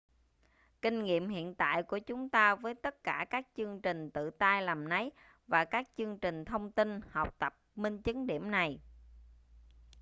kinh nghiệm hiện tại của chúng ta với tất cả các chương trình tự tay làm nấy và các chương trình thông tin học tập minh chứng điểm này